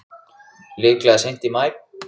Líklega seint í maí.